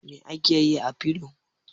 Me ake yi da filo?